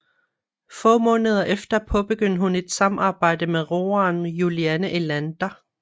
Få måneder efter påbegyndte hun et samarbejde med roeren Juliane Elander